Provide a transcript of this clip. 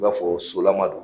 I b'a fɔ solama don